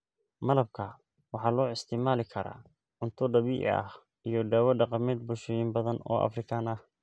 Malabka waxaa loo isticmaali karaa cunto dabiici ah iyo dawo dhaqameed bulshooyin badan oo Afrikaan ah.